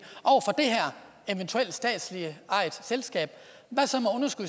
i statsligt ejede selskab hvad så